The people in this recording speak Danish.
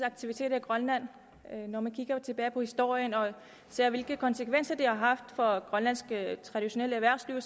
aktiviteter i grønland når man ser tilbage på historien og ser hvilke konsekvenser det har haft for det grønlandske traditionelle erhvervsliv